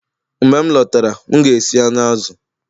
Mgbe m lọtara, m ga-esi anụ azụ